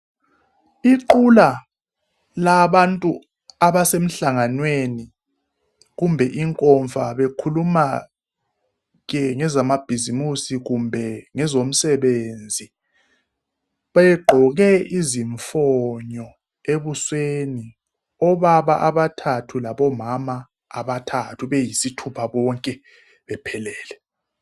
Iqhula labantu abesemhlanganweni kumbe inkomfa bekhuluma ke ngezamabhisimisi kumbe ngezomsebenzi begqoke izimfonyo ebusweni obaba abathathu labomama abathathu beyisithupha bonke bephelele